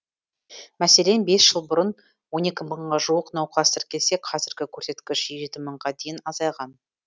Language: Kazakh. мәселен бес жыл бұрын он екі мыңға жуық науқас тіркелсе қазіргі көрсеткіш жеті мыңға дейін азайған